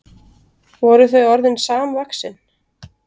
Voru þau orðin samvaxin?